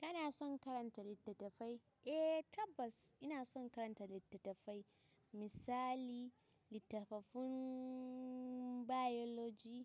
Kana son karanta littattafai? Eh tabbas ina son karanta littattafai misali; littafafin Biology